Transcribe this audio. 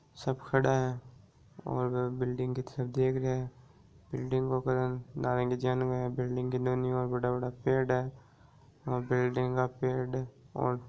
सब खड़े है और बिल्डिंग की तरफ देख रहे है बिल्डिंग के ऊपर है बिल्डिंग के दोनों तरफ बड़ा-बड़ा पेड़ है और बिल्डिंग का पेड़ और --